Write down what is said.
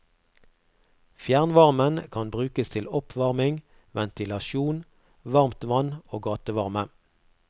Fjernvarmen kan brukes til oppvarming, ventilasjon, varmtvann og gatevarme.